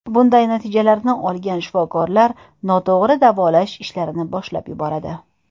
Bunday natijalarni olgan shifokorlar noto‘g‘ri davolash ishlarini boshlab yuboradi.